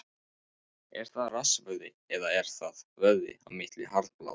Er það rassvöðvi eða er það vöðvi á milli herðablaða?